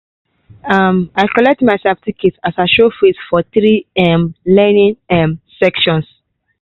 um i collect my certificate as i show face for three um learning um sessions.